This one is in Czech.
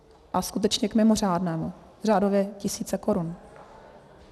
A skutečně k mimořádnému, řádově tisíce korun.